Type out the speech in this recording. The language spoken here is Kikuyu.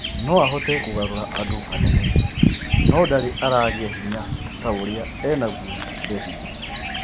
"No ahote kugarura andu hanene, no bado ndari aragia hinya ta uria enaguo Besigye